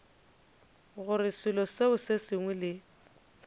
gore selo se sengwe le